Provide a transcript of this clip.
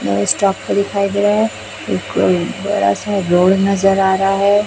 नए स्टॉप दिखाई दे रहा है एक बड़ा सा रोड नजर आ रहा है।